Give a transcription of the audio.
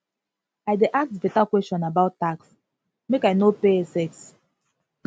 i dey ask beta question about tax make i no pay excess